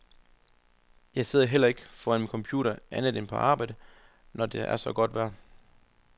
Jeg sidder heller ikke foran min computer andet end på arbejde, når det er så godt vejr.